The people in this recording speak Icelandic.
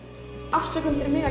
afsökun fyrir mig að